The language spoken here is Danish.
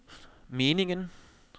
meningen